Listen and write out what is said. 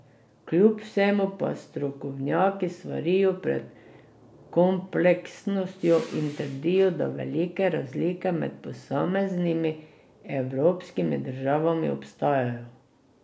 Kljub vsemu pa strokovnjaki svarijo pred kompleksnostjo in trdijo, da velike razlike med posameznimi evropskimi državami ostajajo.